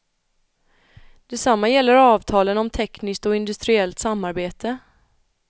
Detsamma gäller avtalen om tekniskt och industriellt samarbete.